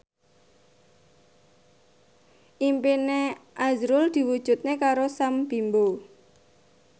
impine azrul diwujudke karo Sam Bimbo